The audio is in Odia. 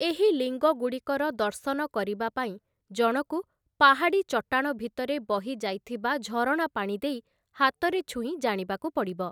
ଏହି ଲିଙ୍ଗଗୁଡ଼ିକର ଦର୍ଶନ କରିବା ପାଇଁ ଜଣକୁ ପାହାଡ଼ି ଚଟାଣ ଭିତରେ ବହିଯାଇଥିବା ଝରଣା ପାଣି ଦେଇ ହାତରେ ଛୁଇଁ ଜାଣିବାକୁ ପଡ଼ିବ ।